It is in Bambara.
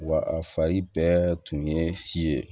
Wa a fari bɛɛ tun ye si ye